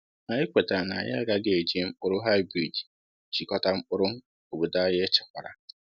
Anyị kwetara na anyị agaghị eji mkpụrụ hybrid jikọta mkpụrụ obodo anyị echekwara.